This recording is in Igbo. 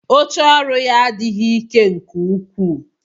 Oche ọrụ ya adịghị ike nke ukwuu